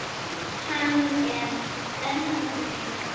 Hann er enn að hlæja.